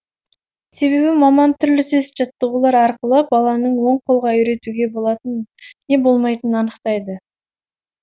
себебі маман түрлі тест жаттығулар арқылы баланың оң қолға үйретуге болатынын не болмайтынын анықтайды